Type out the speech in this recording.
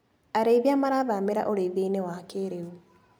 Ariithia marathamira ũrĩithianĩ wa kĩrĩu.